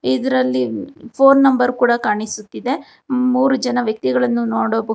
ಇದರಲ್ಲಿ phone number ಕೊಡ ಕಾಣಿಸುತ್ತಿದೆ ಮೂರು ಜನ ವ್ಯಕ್ತಿಗಳನ್ನು ನೋಡಬಹುದು.